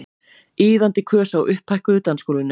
Iðandi kös á upphækkuðu dansgólfinu.